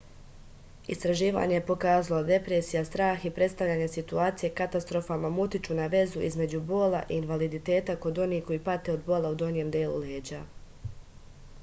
istraživanje je pokazalo da depresija strah i predstavljanje situacije katastrofalnom utiču na vezu između bola i invaliditeta kod onih koji pate od bola u donjem delu leđa